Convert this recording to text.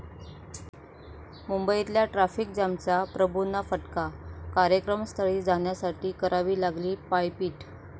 मुंबईतल्या ट्राफिक जॅमचा प्रभूंना फटका, कार्यक्रमस्थळी जाण्यासाठी करावी लागली पायपीट